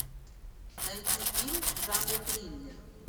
найти фильм в жанре триллер